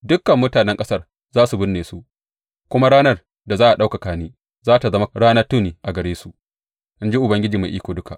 Dukan mutanen ƙasar za su binne su, kuma ranar da za a ɗaukaka ni za tă zama ranar tuni a gare su, in ji Ubangiji Mai Iko Duka.